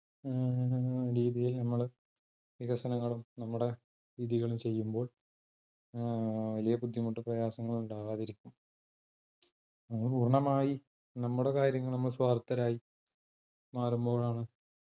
ഉം രീതിയിൽ നമ്മള് വികസനങ്ങളും നമ്മടെ രീതികളും ചെയ്യുമ്പോൾ ഏർ വലിയ ബുദ്ധിമുട്ടും പ്രയാസങ്ങളും ഉണ്ടാകാതിരിക്കും നമ്മ പൂർണ്ണമായി നമ്മടെ കാര്യങ്ങളിൽ സ്വാർത്ഥരായി മാറുമ്പോഴാണ്